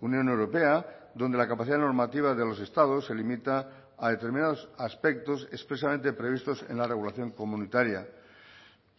unión europea donde la capacidad normativa de los estados se limita a determinados aspectos expresamente previstos en la regulación comunitaria